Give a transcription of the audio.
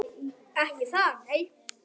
Ekki það nei.